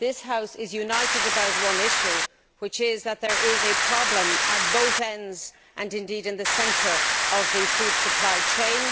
This House is united about one issue, which is that there is a problem at both ends and, indeed, in the centre of the food supply chain.